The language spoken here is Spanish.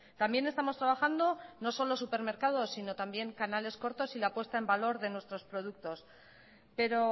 también estamos trabajando no solo supermercados sino canales cortos y la puesta en valor de nuestros productos pero